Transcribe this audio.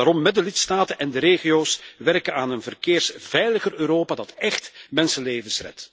Laten we daarom met de lidstaten en de regio's werken aan een verkeersveiliger Europa dat echt mensenlevens redt.